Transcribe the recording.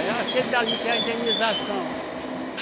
É aquele dali que é a indenização.